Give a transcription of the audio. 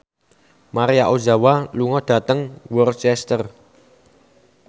Maria Ozawa lunga dhateng Worcester